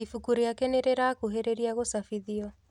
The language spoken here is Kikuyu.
Ibuku rĩake nĩrĩrakuhĩrĩria gũcabithio